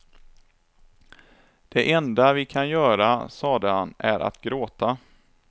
Det enda vi kan göra, sade han, är att gråta.